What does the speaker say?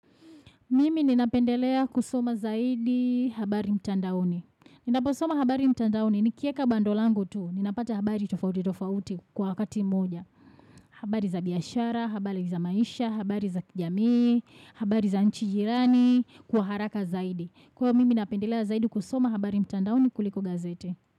Mimi ninapendelea kusoma zaidi habari mtandaoni. Ninaposoma habari mtandaoni nikieka bando langu tu. Ninapata habari tofauti tofauti kwa wakati moja. Habari za biyashara, habari za maisha, habari za kijami, habari za nchijirani, kwa haraka zaidi. Kwa mimi napendelea zaidi kusoma habari mtandaoni kuliko gazete.